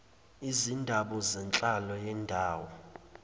izindaba zenhlalo yendawo